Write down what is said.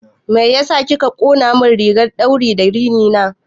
Mai ya sa kika ƙonamin rigar ɗauri da rini na?